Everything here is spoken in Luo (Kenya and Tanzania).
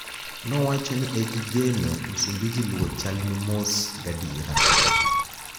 nowacho nii ni egigeno msumbiji luwo chal nii mos gadiera